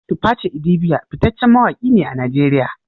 Tuface idibia fitaccen mawaki ne a Najeriya